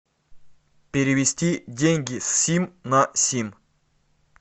перевести деньги с сим на сим